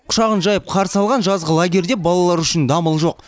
құшағын жайып қарсы алған жазғы лагерьде балалар үшін дамыл жоқ